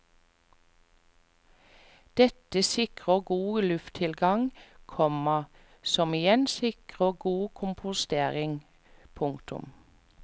Dette sikrer god lufttilgang, komma som igjen sikrer god kompostering. punktum